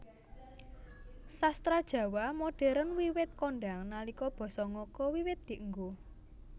Sastra Jawa modern wiwit kondhang nalika basa ngoko wiwit dienggo